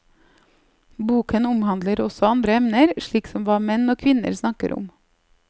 Boken omhandler også andre emner, slik som hva menn og kvinner snakker om.